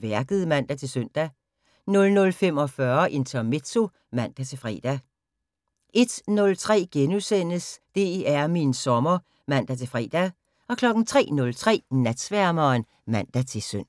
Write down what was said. Værket *(man-søn) 00:45: Intermezzo (man-fre) 01:03: DR min sommer *(man-fre) 03:03: Natsværmeren (man-søn)